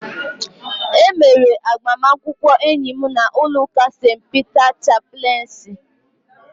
E mere agbamakwụkwọ enyi m n'ụlọ ụka St. Peter chapleensi